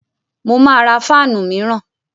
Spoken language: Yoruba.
Mo máa ra fáànù míràn.